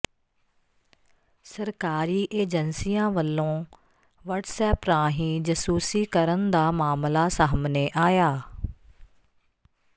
ਸਰਕਾਰੀ ਏਜੰਸੀਆਂ ਵਲੋਂ ਵਟਸਐਪ ਰਾਹੀਂ ਜਸੂਸੀ ਕਰਨ ਦਾ ਮਾਮਲਾ ਸਾਹਮਣੇ ਆਇਆ